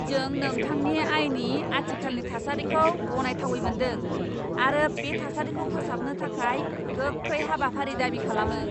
जों नोंथांनि आयनि आथिखालनि थासारिखौ गनायथावै मोन्दों आरो बे थासारिखौ फोसाबनो थाखाय गोख्रै हाबाफारि दाबि खालामो।